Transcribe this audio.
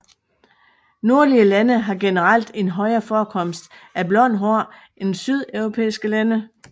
Nordlige lande har generelt en højere forekomst af blond hår end sydeuropæiske lande